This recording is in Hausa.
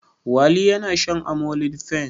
Wali yana shan amlodipine.